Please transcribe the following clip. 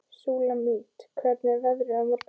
Súlamít, hvernig er veðrið á morgun?